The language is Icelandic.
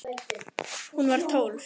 Hún var tólf.